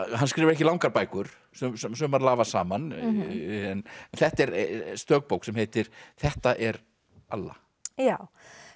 hann skrifar ekki langar bækur sumar lafa saman en þetta er stök bók sem heitir þetta er alla já